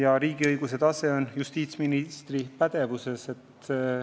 Aga riigiõiguse valdkond on justiitsministri pädevuses.